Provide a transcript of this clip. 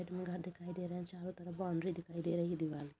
Side में घर दिखाई दे रहा है। चारों तरफ बाउंड्री दिखाई दे रही हैं। दीवाल --